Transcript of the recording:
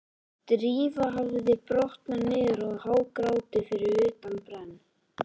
Drífa hafði brotnað niður og hágrátið fyrir utan brenn